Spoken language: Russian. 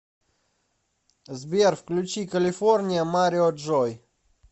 сбер включи калифорния марио джой